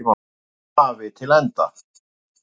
hafi til enda.